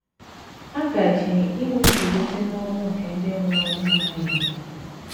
A gaje inwe mbilite n’ọnwụ nke ndị nwụrụ n’amaghị ihe.